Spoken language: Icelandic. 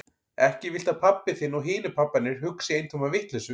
Ekki viltu að pabbi þinn og hinir pabbarnir hugsi eintóma vitleysu?